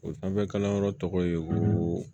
O sanfɛ kalanyɔrɔ tɔgɔ ye ko